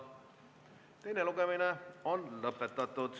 Teine lugemine on lõppenud.